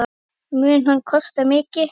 Mun hann kosta mikið?